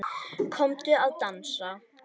Komdu að dansa